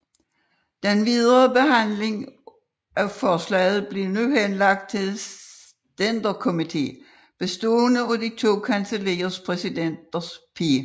Den videre behandling af forslaget blev nu henlagt til en stænderkomité bestående af de to kancelliers præsidenter P